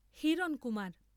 Hirankumar.